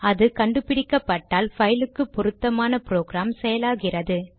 அது கண்டு பிடிக்கப்பட்டால் பைலுக்கு பொருத்தமான ப்ரொக்ராம் செயலாகிறது